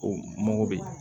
O mɔgɔ bɛ yen